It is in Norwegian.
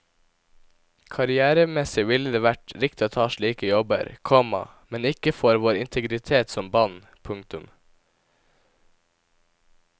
Karrièremessig ville det vært riktig ta slike jobber, komma men ikke for vår integritet som band. punktum